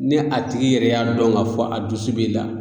Ne a tigi yɛrɛ y'a dɔn k'a fɔ a dusu b'i la